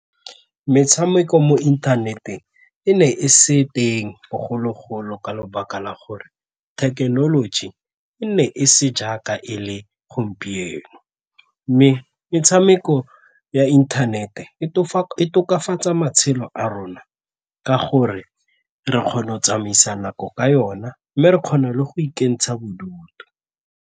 Metshameko mo inthaneteng e ne e se teng bogologolo ka lebaka la gore thekenoloji e nne e se jaaka e le gompieno mme metshameko ya internet-e e tokafatsa matshelo a rona ka gore re kgone go tsamaisa nako ka yona mme re kgona le go ikentsha bodutu.